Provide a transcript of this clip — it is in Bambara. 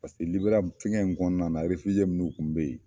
Liberiya fɛngɛw in kɔnɔna na minnu tun be yen